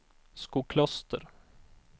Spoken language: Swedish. Skokloster